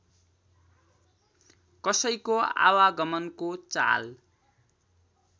कसैको आवागमनको चाल